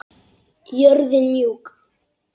Jörðin mjúk.